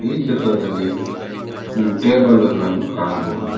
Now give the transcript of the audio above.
ಈ ಚಿತ್ರದಲ್ಲಿ ಟೇಬಲ್ ಗಳನ್ನು ಕಾಣಬಹುದು.